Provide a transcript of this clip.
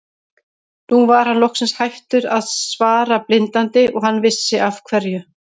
Nú var hann loksins hættur að svara blindandi og hann vissi af hverju.